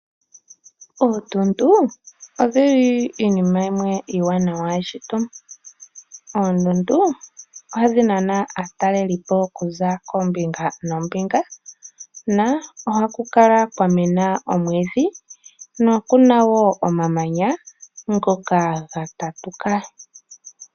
Oondundu odhi li iinima iiwanawa yeshito. Oondundu ohadhi nana aatalelipo okuza koombinga noombinga, na ohaku kala kwa mena omwiidhi nokuna wo omamanya ngoka ga tatuka.